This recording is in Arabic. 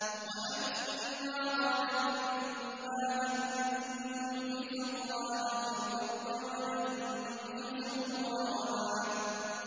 وَأَنَّا ظَنَنَّا أَن لَّن نُّعْجِزَ اللَّهَ فِي الْأَرْضِ وَلَن نُّعْجِزَهُ هَرَبًا